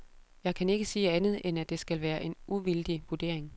Jeg kan ikke sige andet, end at det skal være en uvildig vurdering.